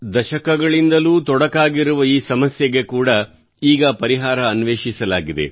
ದಶಕಗಳಿಂದ ನಡೆಯುತ್ತಲೇ ಬಂದಿರುವ ಈ ಸಮಸ್ಯೆಗೆ ಕೂಡಾ ಈಗ ಪರಿಹಾರ ಅನ್ವೇಷಿಸಲಾಗಿದೆ